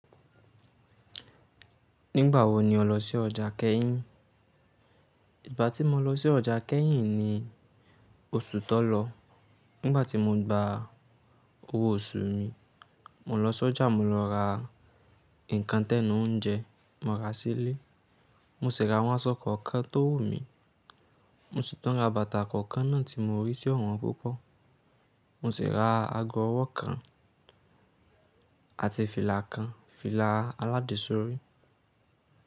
Nígbà wo ni ọ lọ sí ọjà Kẹ́yìn? Ìgbà tí mo lọ sí ọjà Kẹ́hìn ni oṣù tó lọ. Nígbà tí mo gba owó oṣù mi, mo lọ sọ́jà, mo lọ ra nǹkan tẹnu oúnjẹ, mo ra sílé. Mo sì ra àwọn aṣọ kankan tó wù mí. Mo sì tun ra bàtà kànkan náà tí mo rí ti o won púpọ̀. Mo sì ra ago ọwọ́ kan àti fìlà kan; fìlà aládesọ́rí.